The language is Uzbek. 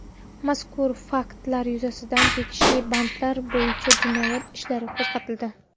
Mazkur faktlar yuzasidan tegishli bandlar bo‘yicha jinoyat ishlari qo‘zg‘atildi.